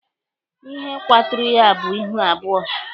Ihe kwaturu ya bụ ihu abụọ.